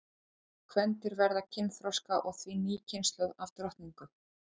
þessi kvendýr verða kynþroska og því ný kynslóð af drottningum